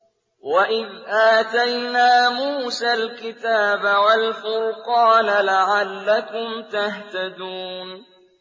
وَإِذْ آتَيْنَا مُوسَى الْكِتَابَ وَالْفُرْقَانَ لَعَلَّكُمْ تَهْتَدُونَ